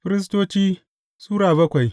Firistoci Sura bakwai